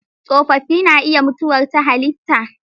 Tsofaffi na iya mutuwar ta halitta.